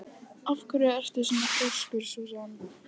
Af hverju ertu svona þrjóskur, Súsan?